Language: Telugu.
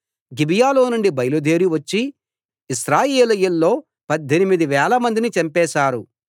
గిబియాలోనుండి బయలుదేరి వచ్చి ఇశ్రాయేలీయుల్లో పద్దెనిమిది వేలమందిని చంపేశారు